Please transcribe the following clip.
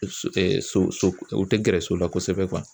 So so so o tɛ gɛrɛ so la kosɛbɛ